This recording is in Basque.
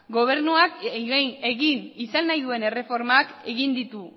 gobernuak egin izan nahi duen erreformak egin ditu